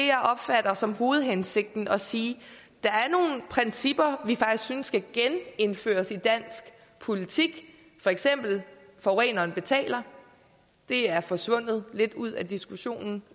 jeg opfatter som hovedhensigten er altså at sige at principper vi faktisk synes skal genindføres i dansk politik for eksempel forureneren betaler det er forsvundet lidt ud af diskussionen